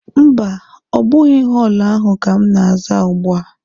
Mba, ọ bụghị họọlụ ahụ ka m na-aza ugbua.